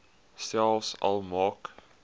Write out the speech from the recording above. selfs al maak